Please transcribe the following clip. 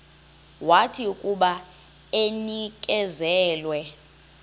wathi akuba enikezelwe